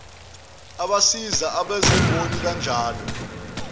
abasiza abezimboni kanjalo